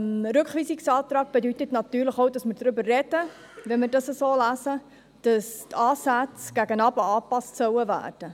Ein Rückweisungsantrag bedeutet natürlich auch, dass wir darüber sprechen, wenn wir dies so lesen, dass die Ansätze gegen unten angepasst werden sollen.